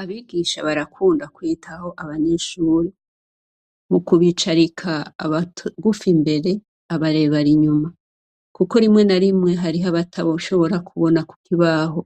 Abigisha barakunda kwitaho abanyeshure, mukubicarika abagufi imbere abarebare inyuma kuko rimwe na rimwe hariho abotoshobora kubona kukibaho